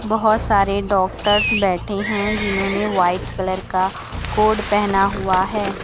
बहोत सारे डॉक्टर्स बैठे हैं जिन्होंने व्हाइट कलर का कोट पहना हुआ है।